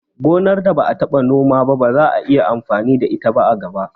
Gonar da ba'a taɓa Nome wa ba za'a yi amfani da ita a gaba